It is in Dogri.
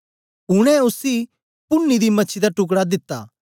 उनै उसी पुन्नी दी मछी दा टुकड़ा दिता